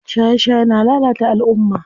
Shaye shaye na lalata alumma.